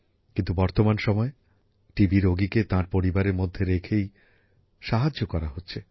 কিন্তু বর্তমান সময়ে টিবি রোগীকে তাঁর পরিবারের মধ্যে রেখেই সাহায্যে করা হচ্ছে